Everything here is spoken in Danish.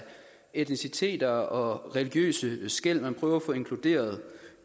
etnicitet og religiøse skel og man prøver også at få inkluderet